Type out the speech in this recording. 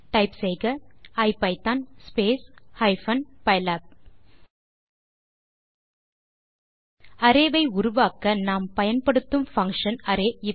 type செய்க ஐபிதான் space hyphen பைலாப் அரே ஐ உருவாக்க நாம் பயன்படுத்தும் பங்ஷன் array